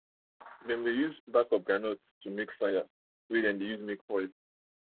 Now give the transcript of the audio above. dem dey use groundnut back make fire for where dem dey make oil